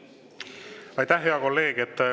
Aitäh, hea kolleeg!